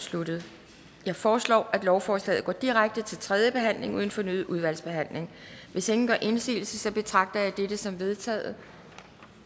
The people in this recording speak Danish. sluttet jeg foreslår at lovforslaget går direkte til tredje behandling uden fornyet udvalgsbehandling hvis ingen gør indsigelse betragter jeg dette som vedtaget